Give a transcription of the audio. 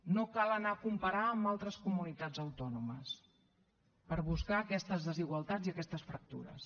no cal anar a comparar amb altres comunitats autònomes per buscar aquestes desigualtats i aquestes fractures